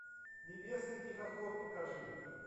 небесный тихоход покажи